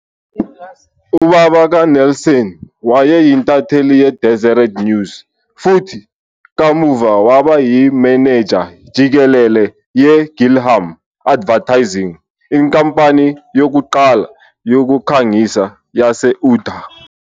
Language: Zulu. Ubaba kaNelson wayeyintatheli ye- "Deseret News" futhi kamuva waba yimenenja jikelele yeGillham Advertising, inkampani yokuqala yokukhangisa yase-Utah.